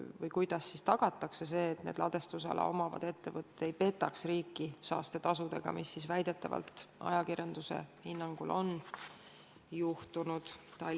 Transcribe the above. Ning kuidas püütakse tagada, et ladestusala omavad ettevõtted ei petaks riiki saastetasudega, nagu ajakirjanduse hinnangul on juhtunud?